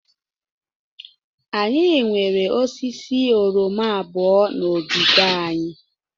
Anyị nwere osisi oroma abụọ na ogige anyị.